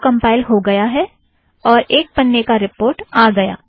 यह अब कम्पाइल हो गया और एक पन्ने का रीपोर्ट आ गया